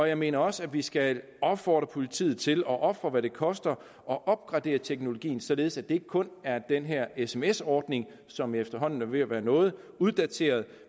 jeg mener også at vi skal opfordre politiet til at ofre hvad det koster at opgradere teknologien således at det ikke kun er den her sms ordning som efterhånden er ved at være noget uddateret